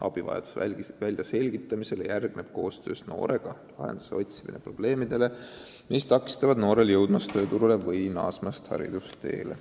Abivajaduse väljaselgitamisele järgneb koostöös noorega lahenduse otsimine probleemidele, mis takistavad noorel jõudmast tööturule või naasmast haridusteele.